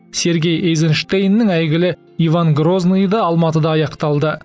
сергей эйзенштейннің әйгілі иван грозныйы да алматыда аяқталды